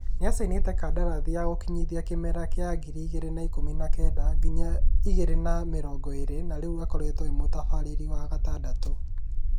Nĩ acainĩte kadarathi ya gũkinyithia kĩmera kĩa ngiri igĩrĩ na ikũmi na kenda nginya igĩrĩ na mĩrongo ĩrĩ na rĩu akoretwo e mutabarĩri wa gatandatũ